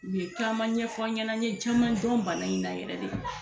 U ye caman ɲɛfɔ n ɲɛna n ye caman dɔn bana in na yɛrɛ de